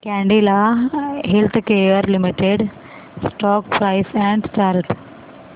Cadila healthcare limited stock price and chart